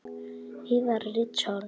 Yðar Richard